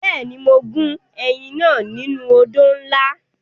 Bẹ́ẹ̀ni, mo gún ẹyìn náà nínú odó ńlá.